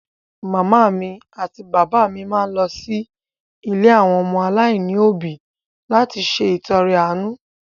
Màmá mi àti bàbá mi máa lọ sí ilé àwọn ọmọ aláìní òbí láti ṣe ìtọrẹ àánú.